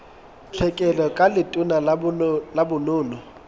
tlhekelo ka letona la bonono